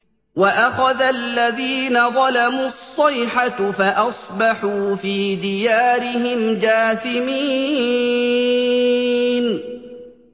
وَأَخَذَ الَّذِينَ ظَلَمُوا الصَّيْحَةُ فَأَصْبَحُوا فِي دِيَارِهِمْ جَاثِمِينَ